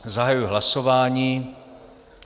Zahajuji hlasování.